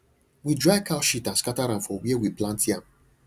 we dry cow shit and scatter am for where we plant yam